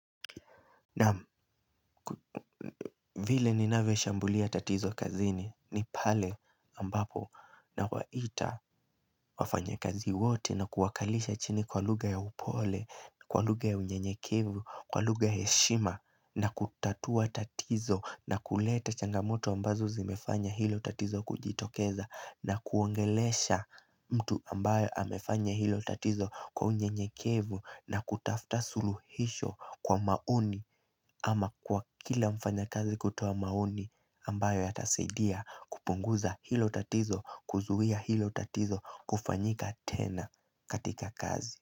Naam, vile ninavyoshambulia tatizo kazini ni pale ambapo nawaita wafanyakazi wote na kuwakalisha chini kwa lugha ya upole, kwa lugha ya unyenyekevu, kwa lugha ya heshima na kutatua tatizo na kuleta changamoto ambazo zimefanya hilo tatizo kujitokeza na kuongelesha mtu ambaye amefanya hilo tatizo kwa unyenyekevu na kutafta suluhisho kwa maoni ama kwa kila mfanyakazi kutoa maoni ambayo yatasaidia kupunguza hilo tatizo, kuzuia hilo tatizo kufanyika tena katika kazi.